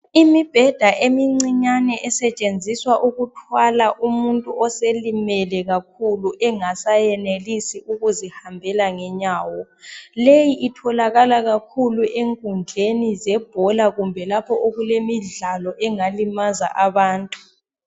Imibheda imincinyane esetshenziswa ukuthwala umuntu oselimele kakhulu engasayenelisi ukuzihambela ngenyawo leyi itholakala kakhulu enkundleni zebhola kumbe lapho okulemidlalo engalimaza abantu